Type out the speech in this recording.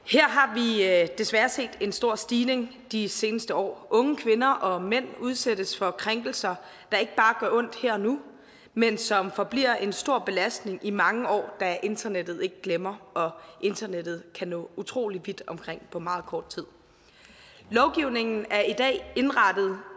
her har vi desværre set en stor stigning de seneste år unge kvinder og mænd udsættes for krænkelser der ikke bare gør ondt her og nu men som forbliver en stor belastning i mange år da internettet ikke glemmer og internettet kan nå utrolig vidt omkring på meget kort tid lovgivningen er i dag indrettet